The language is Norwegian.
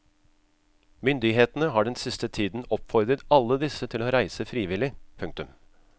Myndighetene har den siste tiden oppfordret alle disse til å reise frivillig. punktum